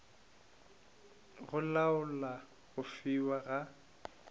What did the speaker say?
go laola go fiwa ga